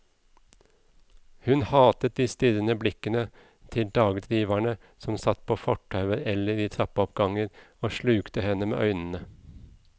Hun hatet de strirrende blikkende til dagdriverne som satt på fortauer eller i trappeoppganger og slukte henne med øynene.